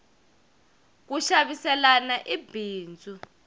ku xaviselana i bindzu